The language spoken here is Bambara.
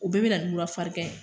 O bɛɛ be na ni mura farigan ye